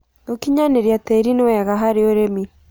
Gũkĩnyanĩrĩa tĩĩrĩ nĩ wega harĩ ũrĩmĩ